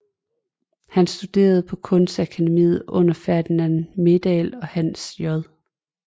Han studerede på Kunstakademiet under Ferdinand Meldahl og Hans J